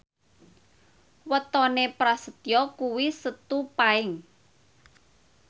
wetone Prasetyo kuwi Setu Paing